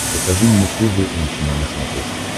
покажи мне тэ вэ эм чено на смотрешке